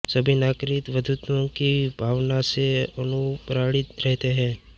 सभी नागरिक बन्धुत्व की भावना से अनुप्राणित रहते हैं